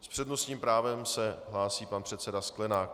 S přednostním právem se hlásí pan předseda Sklenák.